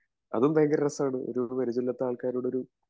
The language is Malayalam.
അതും ഭയങ്കര രസാണ് ഒരു പരിചയവുമില്ലാത്ത ആൾക്കാരോട് ഒരു